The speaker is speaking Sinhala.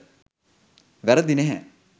වැරදි නැහැ.